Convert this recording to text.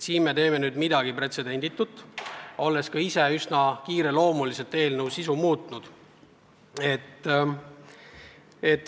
Nüüd me teeme midagi pretsedenditut, olles üsna kiireloomuliselt eelnõu sisu muutnud.